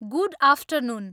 good afternoon